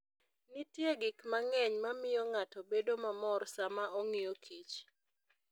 Nitie gik mang'eny ma miyo ng'ato bedo mamor sama ong'iyo Kich.